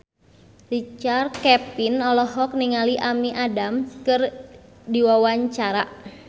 Richard Kevin olohok ningali Amy Adams keur diwawancara